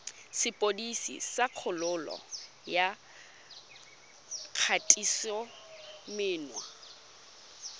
sepodisi sa kgololo ya kgatisomenwa